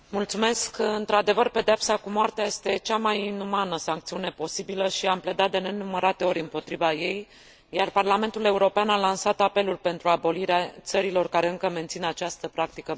Într adevăr, pedeapsa cu moartea este cea mai inumană sancțiune posibilă și am pledat de nenumărate ori împotriva ei, iar Parlamentul European a lansat apeluri pentru abolirea acesteia în țările care încă mențin această practică barbară.